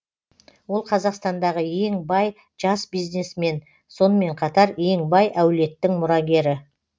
ол қазақстандағы ең бай жас бизнесмен сонымен қатар ең бай әулеттің мұрагері